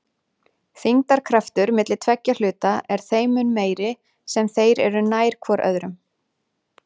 Þyngdarkraftur milli tveggja hluta er þeim mun meiri sem þeir eru nær hvor öðrum.